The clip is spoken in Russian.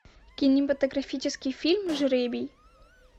кинематографический фильм жребий